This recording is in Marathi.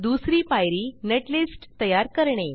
दुसरी पायरी नेटलिस्ट तयार करणे